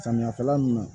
Samiya kɛla nunnu